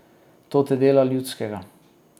To te dela ljudskega.